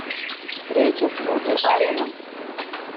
встреча с вуди алленом